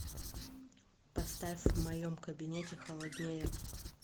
поставь в моем кабинете холоднее